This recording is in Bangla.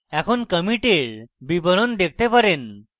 এখন কমিটের বিবরণ দেখতে পারেন